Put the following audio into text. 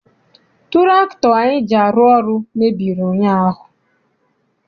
Tụraktọ anyị ji arụ ọrụ mebiri ụnyaahụ.